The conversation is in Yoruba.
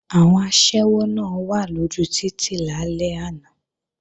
Àwọn aṣẹ́wó náà wà lójú títì lálẹ́ àná